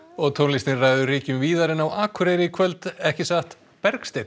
og tónlistin ræður ríkjum víðar en á Akureyri í kvöld ekki satt Bergsteinn